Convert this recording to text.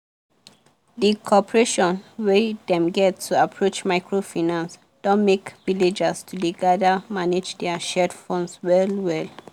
the cooperation wey dem get to approach microfinance don make villagers to dey gather manage their shared funds well well.